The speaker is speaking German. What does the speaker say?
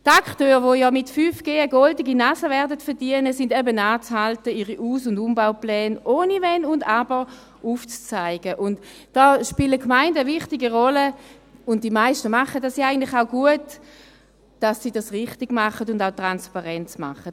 Die Akteure, die ja mit 5G eine goldene Nase verdienen werden, sind eben anzuhalten, ihre Aus- und Umbaupläne ohne Wenn und Aber aufzuzeigen – und da spielen die Gemeinden eine wichtige Rolle, und die meisten machen das ja eigentlich auch gut –, damit sie das richtig und auch transparent machen.